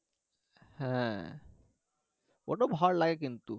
হ্যাঁ, ওটা ভালো লাগে কিন্তু